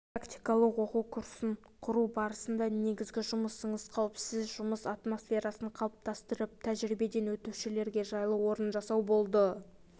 практикалық оқу курсын құру барысында негізгі жұмысыңыз қауіпсіз жұмыс атмосферасын қалыптастырып тәжірибеден өтушілерге жайлы орын жасау болды